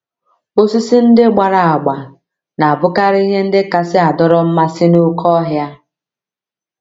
Osisi ndị gbara agba na - abụkarị ihe ndị kasị adọrọ mmasị n’oké ọhịa.